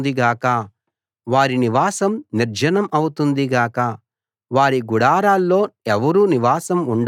వారి నివాసం నిర్జనం అవుతుంది గాక వారి గుడారాల్లో ఎవరూ నివాసం ఉండరు గాక